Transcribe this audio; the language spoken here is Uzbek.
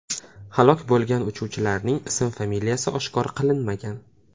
Halok bo‘lgan uchuvchilarning ism-familiyasi oshkor qilinmagan.